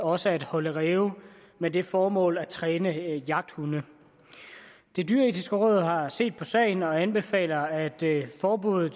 også at holde ræve med det formål at træne jagthunde det dyreetiske råd har set på sagen og anbefaler at forbuddet